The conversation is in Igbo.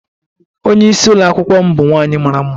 Onye isi Ụlọ akwụkwọ m bụ nwaanyị mara mma.